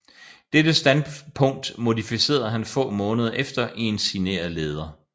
Dette standpunkt modificerede han få måneder efter i en signeret leder